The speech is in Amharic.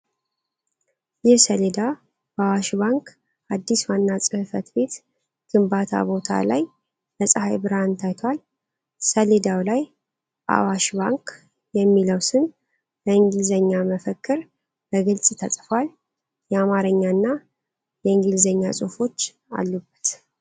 ይህ ሰሌዳ በአዋሽ ባንክ አዲስ ዋና ጽ/ቤት ግንባታ ቦታ ላይ በፀሐይ ብርሃን ታይቷል። ሰሌዳው ላይ "አዋሽ ባንክ" የሚለው ስም በእንግሊዝኛ መፈክር በግልጽ ተጽፏል። የአማርኛ እና የእንግሊዝኛ ጽሑፎች አሉበት።